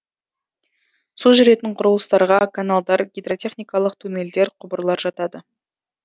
су жүретін құрылыстарға каналдар гидротехникалық туннельдер құбырлар жатады